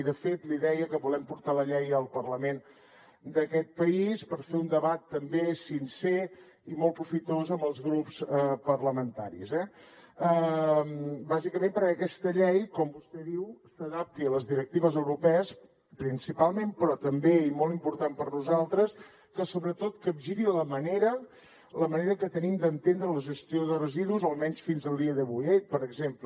i de fet li deia que volem portar la llei al parlament d’aquest país per fer un debat també sincer i molt profitós amb els grups parlamentaris eh bàsicament perquè aquesta llei com vostè diu s’adapti a les directives europees principalment però també i molt important per nosaltres perquè sobretot capgiri la manera que tenim d’entendre la gestió de residus almenys fins al dia d’avui eh per exemple